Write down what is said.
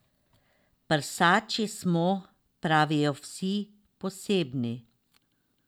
Prsači smo, pravijo vsi, posebni.